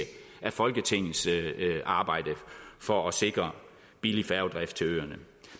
af folketingets arbejde for at sikre billig færgedrift til øerne